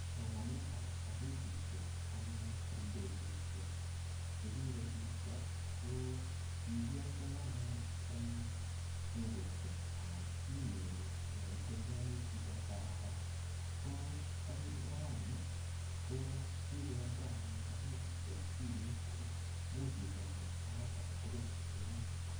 Somanetap kasetisiek anyun eng betusiek chekokisirto, ko kikialdoi anyun eng dukesiek anan inyoru yaitembeani chito eng barabara. Ko eng raini, ko kikende anyun kasetishek eng simet ako imuch isoman sait age tugul yeimache.